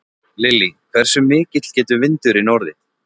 Lillý: Hversu mikill getur vindurinn orðið?